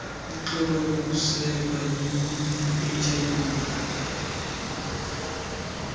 lixhoba lokosulelwa yiihiv